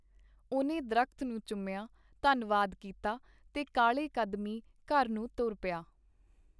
ਉਹਨੇ ਦਰਖ਼ਤ ਨੂੰ ਚੁੰਮਿਆਂ, ਧੰਨਵਾਦ ਕੀਤਾ ਤੇ ਕਾਹਲੇ ਕਦਮੀ ਘਰ ਨੂੰ ਤੁਰ ਪਿਆ .